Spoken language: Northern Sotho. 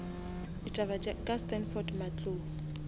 ditaba ka standford matlou